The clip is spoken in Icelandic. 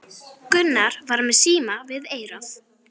Gunnar var með síma við eyrað.